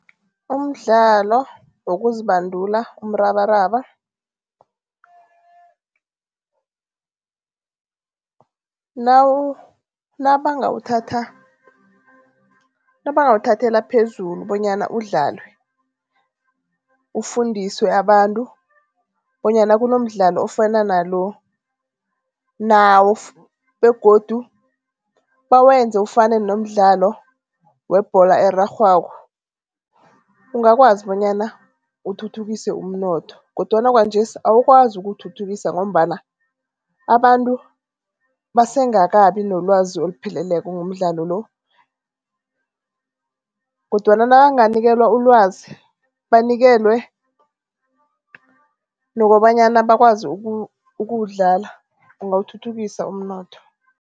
Umdlalo wokuzibandula umrabaraba, nabangawuthathela phezulu bonyana udlalwe, ufundiswe abantu bonyana kunomdlalo ofana nalo begodu bawenze ufane nomdlalo webholo erarhwako. Ungakwazi bonyana uthuthukise umnotho kodwana kwanjesi awukwazi ukuwuthuthukisa ngombana abantu basengakabi nolwazi olupheleleko ngomdlalo lo kodwana nabanganikelwa ulwazi, banikelwe nokobanyana bakwazi ukuwudlala bangawuthuthukisa umnotho.